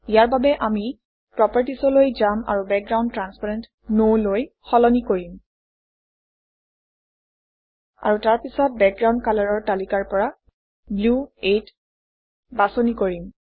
ইয়াৰ বাবে আমি Properties অলৈ যাম আৰু বেকগ্ৰাউণ্ড ট্ৰান্সপেৰেণ্ট No লৈ সলনি কৰিম আৰু তাৰপিছত বেকগ্ৰাউণ্ড কালাৰৰ তালিকাৰ পৰা ব্লু 8 বাছনি কৰিম